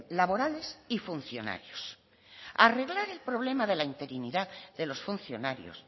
laborales y funcionarios arreglar el problema de la interinidad de los funcionarios